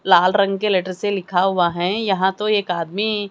लाल रंग के लेटर से लिखा हुआ है। यहां तो एक आदमी--